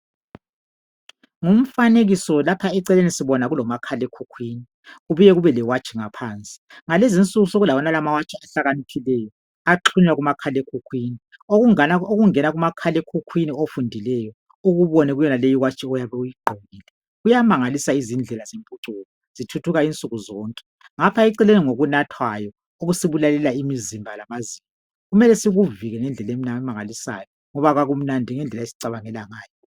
Ngumfanekiso, lapha eceleni sibona kulomakhalekhukhwini, kubuye kube lewatshi ngaphansi. Ngalezi insuku sekulawonala amawatshi ahlakaniphileyo axhunywa kumakhalekhukwhini. Okungena kumakhalekhukwhini okufundileyo, ukubone kuyonale iwatshi oyabe uyigqokile. Kuyamangalisa izindlela zentuthuko, zithuthuka insuku zonke, ngapha eceleni ngokunathwayo, okusibulalela imizimba lamazinyo. Kumele sikuvike ngendlela emangalisayo, ngoba akumnandi ngendlela esicabangela ngayo.